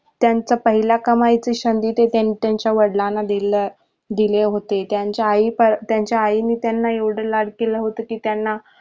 त्यांचा पहिल्या कमाईतून सधी ते त्यांनी त्याचा वडिलांना दिले होते त्यांचा आई त्यांचा आई ने त्यांना एवढ लाढ केल होत कि त्यांना